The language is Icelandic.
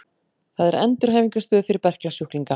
Það er endurhæfingarstöð fyrir berklasjúklinga.